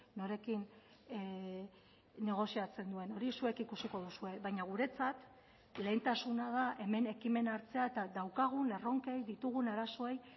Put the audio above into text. norekin negoziatzen duen hori zuek ikusiko duzue baina guretzat lehentasuna da hemen ekimena hartzea eta daukagun erronkei ditugun arazoei